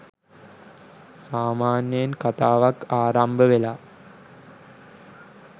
සාමාන්‍යයෙන් කථාවක් ආරම්භවෙලා